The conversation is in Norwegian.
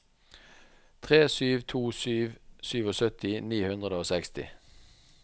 tre sju to sju syttisju ni hundre og seksti